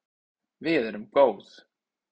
Við erum góð